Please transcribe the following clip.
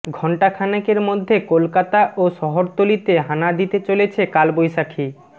ঘণ্টাখানেকের মধ্যে কলকাতা ও শহরতলিতে হানা দিতে চলেছে কালবৈশাখি